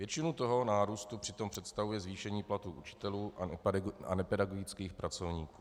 Většinu tohoto nárůstu přitom představuje zvýšení platů učitelů a nepedagogických pracovníků.